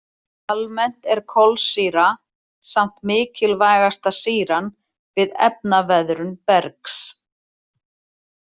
Almennt er kolsýra samt mikilvægasta sýran við efnaveðrun bergs.